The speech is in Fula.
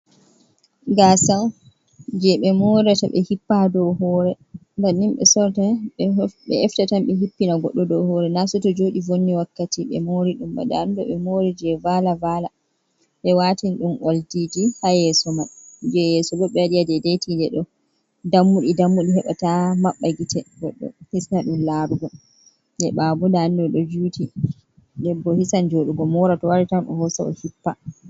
Gaasa on, jee ɓe lootataa, hippa ha dow hoore. Banni ɓe sorrata, bee efta tan ɓe tan hippana goɗɗo ha dow hoore. Na sai jooɗi vonni wakkati, ɓe mooriɗum ba, ndaa ɗum ɗo ɓe moori jee vaala-vaala ɓe waati ni ɗum oldiiji ha yeeso mai, jee yeeso bo ɓe waɗi ha daidai tiinde ɗo. Dammuɗi dammuɗi, heɓaa ta maɓɓa gite goɗɗo, hisna ɗum laarugo. Jee ɓaawo bo daa ɗum ɗo juuti, den bo hisan jooɗugo moora, to wari ni tan, o hosa o hippa.